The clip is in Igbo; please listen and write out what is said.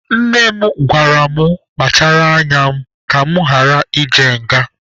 Nne m gwara mụ kpachara anya m ka mụ ghara ịje nga.